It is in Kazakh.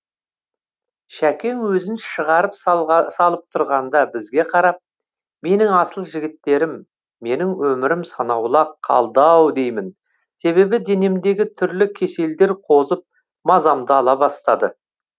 шәкең өзін шығарып салып тұрғанда бізге қарап менің асыл жігіттерім менің өмірім санаулы ақ қалды ау деймін себебі денемдегі түрлі кеселдер қозып мазамды ала бастады